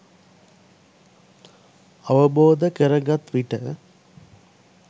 අවබෝධ කරගත් විට